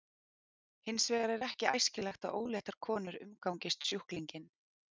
Hins vegar er ekki æskilegt að óléttar konur umgangist sjúklinginn.